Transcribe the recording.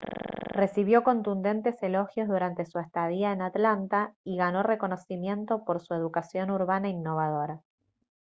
recibió contundentes elogios durante su estadía en atlanta y ganó reconocimiento por su educación urbana innovadora